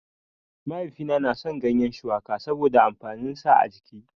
Mahaifina na son gyanyen shuwaka saboda amfanin sa a jiki